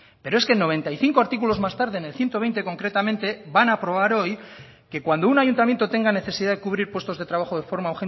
pero es que noventa y cinco artículos más tarde en el ciento veinte concretamente van a aprobar hoy que cuando un ayuntamiento tenga necesidad de cubrir puestos de trabajo de forma